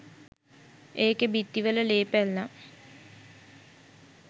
ඒකෙ බිත්ති වල ලේ පැල්ලම්